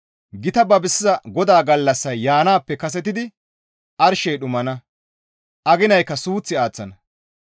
Gita babisiza Godaa gallassay yaanaappe kasetidi arshey dhumana; aginaykka suuth aaththana.